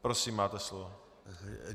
Prosím, máte slovo.